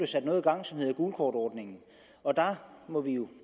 sat noget i gang som hedder gulkortordningen og der må vi jo